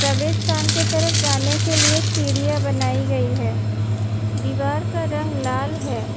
प्रवेश स्थान के तरफ जाने के लिए सीढ़ियां बनाई गई हैं। दीवार का रंग लाल है।